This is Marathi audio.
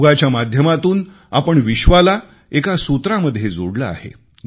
योगाच्या माध्यमातून आपण विश्वाला एका सूत्रामध्ये जोडले आहे